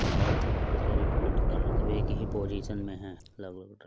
और अपने आप को शरीर को फिट करने के लिए एक ही पोजीशन में है। लगभ --